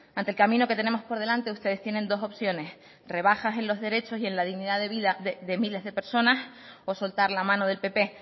ante el camino que tenemos por delante ustedes tienen dos opciones rebajas en los derechos y en la dignidad de vida de miles de personas o soltar la mano del pp